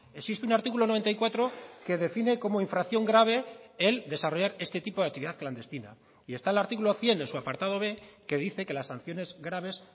existe un artículo noventa y cuatro que define como infracción grave el desarrollar este tipo de actividad clandestina y está el artículo cien en su apartado b que dice que las sanciones graves